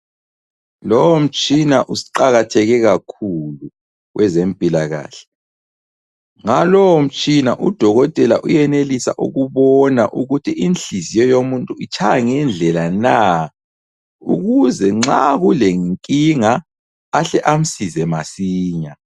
Lowu mtshina uqakatheke kakhulu kwezempilakahle ngalo mtshina udokotela uyenelisa ukubona ukuthi inhliziyo yomuntu itshaya ngendlela na, ukuze nxa kule nkinga ahle amsize masinya.